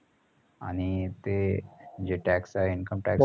आणि ते जे tax आहे income tax